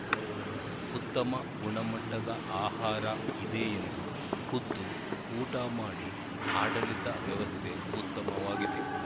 ಉತ್ತಮ ಗುಣಮಟ್ಟದ ಆಹಾರ ಇದೆ ಎಂದು ಖುದ್ದು ಊಟ ಮಾಡಿ ಆಡಳಿತ ವ್ಯವಸ್ಥೆ ಉತ್ತಮವಾಗಿದೆ